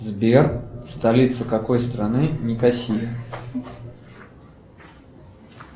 сбер столица какой страны никосия